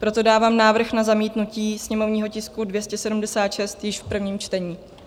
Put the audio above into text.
Proto dávám návrh na zamítnutí sněmovního tisku 276 již v prvním čtení.